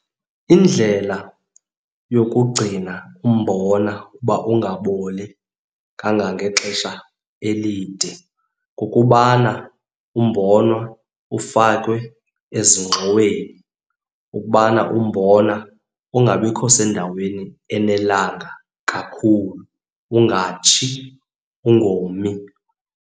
Indlela yokugcina umbona uba ungaboli kangangexesha elide kukubana umbona ufakwe ezingxoweni. Ukubana umbona ungabikho sendaweni enelanga kakhulu, ungatshi, ungomi.